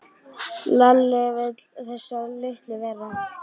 Lalli starði á þessa litlu veru.